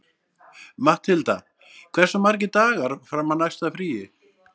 Matthilda, hversu margir dagar fram að næsta fríi?